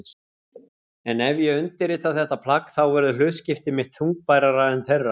En ef ég undirrita þetta plagg þá verður hlutskipti mitt þungbærara en þeirra.